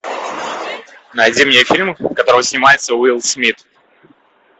найди мне фильм в котором снимается уилл смит